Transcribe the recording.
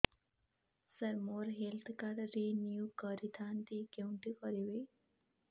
ସାର ମୋର health card renew କରିଥାନ୍ତି କେଉଁଠି କରିବି